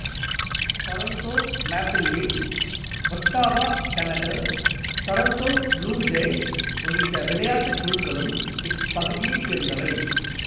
Toronto Maple Leafs Ottawa Senators Toronto Blue Jays உள்ளிட்ட விளையாட்டுக் குழுக்களும் இப்பகுதியைச் சேர்ந்தவை